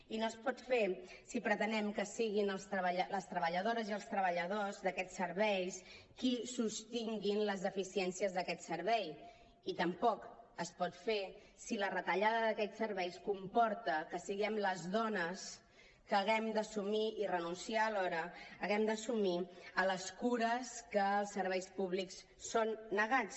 i no es pot fer si pretenem que siguin les treballadores i els treballadors d’aquests serveis qui sostinguin les deficiències d’aquest servei i tampoc es pot fer si la retallada d’aquests serveis comporta que siguem les dones que haguem d’assumir i renunciar alhora haguem d’assumir les cures que als serveis públics són negades